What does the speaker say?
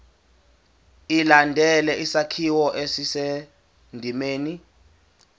ilandele isakhiwo esisendimeni